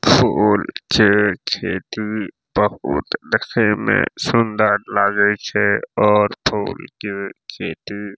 फूल छै खेती मे बहुत देखय में सुंदर लागे छै और फूल के खेती --